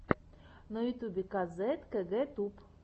на ютюбе казет кэгэ туб